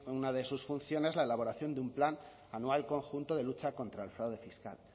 una de sus funciones la elaboración de un plan anual conjunto de lucha contra el fraude fiscal